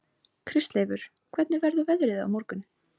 Kristleifur, hvernig verður veðrið á morgun?